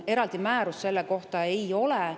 Eraldi määrust selle kohta ei ole.